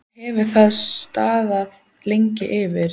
Hvað hefur það staðið lengi yfir?